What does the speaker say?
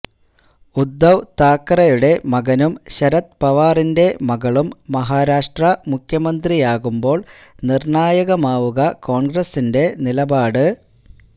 ഉദ്ദവ് താക്കറയുടെ മകനും ശരത് പവാറിന്റെ മകളും മഹാരാഷ്ട്ര മുഖ്യമന്ത്രിയാകുമ്പോൾ നിർണ്ണായകമാവുക കോൺഗ്രസിന്റെ നിലപാട്